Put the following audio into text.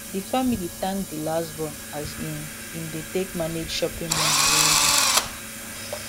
di family thank di last born as im im dey take manage shopping money well well